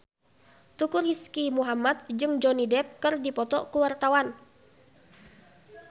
Teuku Rizky Muhammad jeung Johnny Depp keur dipoto ku wartawan